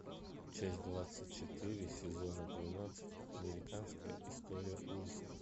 часть двадцать четыре сезона двенадцать американская история ужасов